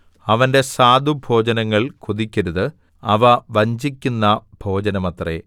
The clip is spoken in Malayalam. അവന്റെ സ്വാദുഭോജനങ്ങൾ കൊതിക്കരുത് അവ വഞ്ചിക്കുന്ന ഭോജനമത്രേ